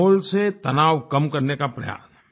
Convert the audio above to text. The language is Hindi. माहौल से तनाव कम करने का प्रयास